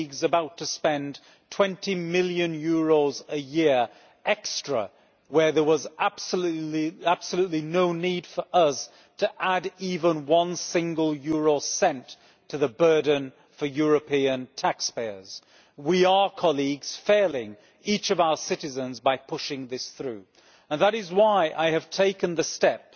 about to spend EUR 20 million a year extra where there was absolutely no need for us to add even one single euro cent to the burden for European taxpayers. We are failing each of our citizens by pushing this through and that is why I have taken the step,